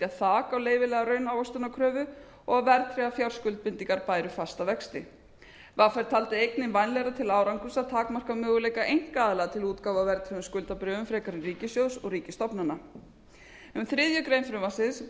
þak á leyfilega raunávöxtunarkröfu og verðtryggðar fjárskuldbindingar bæru fasta vexti vr taldi einnig vænlegra til árangurs að takmarka möguleika einkaaðila til útgáfu á verðtryggðum skuldabréfum frekar en ríkissjóðs og ríkisstofnana um þriðju greinar frumvarpsins